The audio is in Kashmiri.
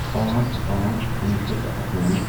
پانژھ پانژھ کُنوہ شیٚتھ تہٕ اَٹھوُہ